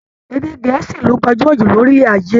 Èdè Gẹ̀ẹ́sì ló gbajúmọ̀ jù lórílẹ̀ ayé